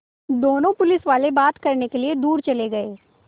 दोनों पुलिसवाले बात करने के लिए दूर चले गए